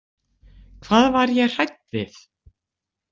Hvað var ég hrædd við?